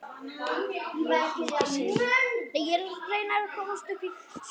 Ég hringi seinna.